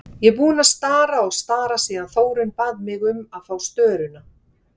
Ég er búin að stara og stara síðan Þórunn bað mig um að fá störuna.